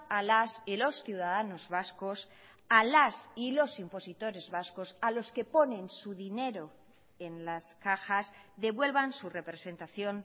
a las y los ciudadanos vascos a las y los impositores vascos a los que ponen su dinero en las cajas devuelvan su representación